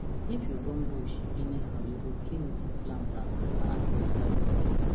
if you burn bush anyhow you go kill native plant and scatter animal life for area